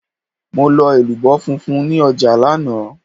Mo lọ elubo funfun ní ọjà lánàá.